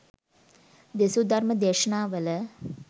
දෙසූ ධර්ම දේශනාවල